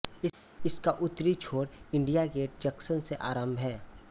इसका उत्तरी छोर इण्डिया गेट जंक्शन से आरम्भ है